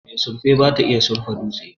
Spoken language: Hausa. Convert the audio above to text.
mai surfe bata iya surfa dutse